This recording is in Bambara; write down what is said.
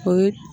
O ye